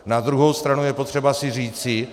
Na druhou stranu je potřeba si říci -